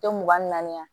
Tɛ mugan ni naani ye